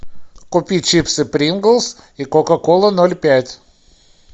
купи чипсы принглс и кока кола ноль пять